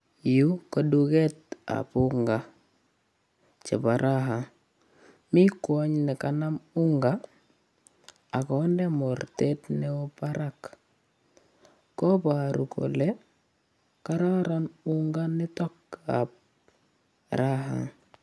Yu ko duketab unga chebo raha. Mi kwony ne kanam unga ak konde mornet neo parak kobaru kole koraron unga nitok ab raha.